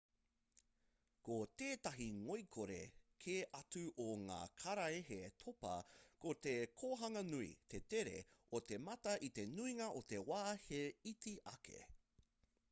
ko tētahi ngoikore kē atu o ngā karaehe topa ko te kohanga nui te tere o te mata i te nuinga o te wā he iti ake